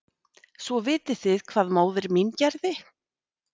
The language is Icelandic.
Svo vitið þið hvað móðir mín gerði?